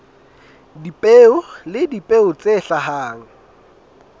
dipeo le dipeo tse hlahang